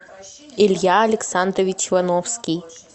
илья александрович вановский